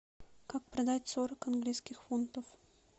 как продать сорок английских фунтов